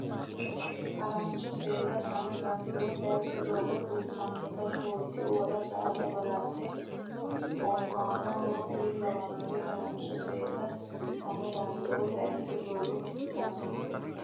Harancho Seeda sano dandoo taysa doogo fultinota shoolki uwara saada balaxe oofaano w k l Harancho Seeda sano dandoo taysa doogo fultinota.